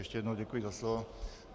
Ještě jednou děkuji za slovo.